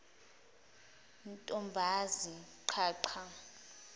ntombazi qha qha